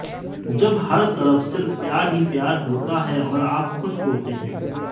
जब हर तरफ सिर्फ प्यार ही प्यार होता है और आप खुश होते हैं